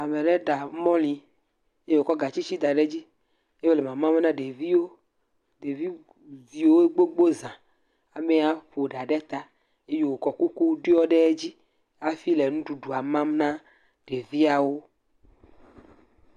ameɖe ɖa mɔlĩ ye wótsɔ gatsitsi daɖe dzi ye wòle mamam na ɖeviwo ɖevi viwo gbogbó zã amɛa ƒoɖa ɖe ta eye wokɔ kuku ɖiɔ ɖe dzi afi le ŋuɖuɖuɔ mam na ɖeviawo